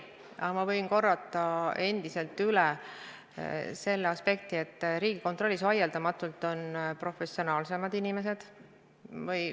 Aga ma võin üle korrata selle aspekti, et Riigikontrollis on vaieldamatult professionaalsemad inimesed.